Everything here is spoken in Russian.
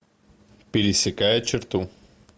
пересекая черту